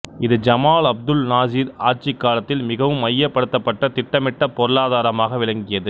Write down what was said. இது Jamal Abdul Nasser ஆட்சிக் காலத்தில் மிகவும் மையப்படுத்தப்பட்ட திட்டமிட்ட பொருளாதாரமாக விளங்கியது